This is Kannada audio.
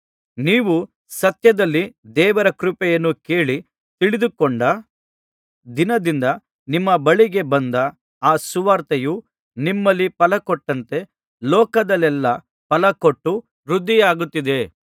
ನೀವು ಸತ್ಯದಲ್ಲಿ ದೇವರ ಕೃಪೆಯನ್ನು ಕೇಳಿ ತಿಳಿದುಕೊಂಡ ದಿನದಿಂದ ನಿಮ್ಮ ಬಳಿಗೆ ಬಂದ ಆ ಸುವಾರ್ತೆಯು ನಿಮ್ಮಲ್ಲಿ ಫಲಕೊಟ್ಟಂತೆ ಲೋಕದಲ್ಲೆಲ್ಲಾ ಫಲಕೊಟ್ಟು ವೃದ್ಧಿಯಾಗುತ್ತಿದೆ